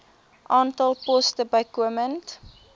aantal poste bykomend